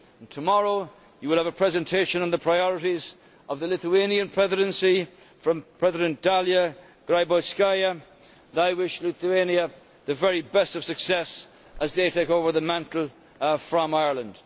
Tomorrow you will have a presentation on the priorities of the Lithuanian Presidency, from President Dalia Grybauskaitė, and I wish Lithuania the very best of success as they take over the mantle from Ireland.